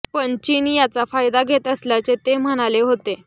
पण चीन याचा फायदा घेत असल्याचे ते म्हणाले होते